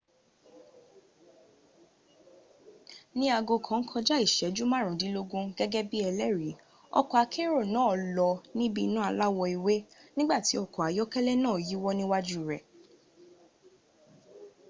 ni aago kàn kojá ìséjú márùndínlógún gégé bi ẹlẹri ọkò akérò náà lọ níbi iná aláwọ ewé nígbàtí ọkọ̀ ayọ́kélẹ´ náà yíwọ́ níwájú rẹ̀